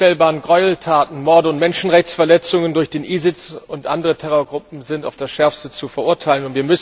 Die unvorstellbaren Gräueltaten, Morde und Menschenrechtsverletzungen durch den ISIS und andere Terrorgruppen sind auf das Schärfste zu verurteilen.